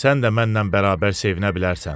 sən də mənlə bərabər sevinə bilərsən.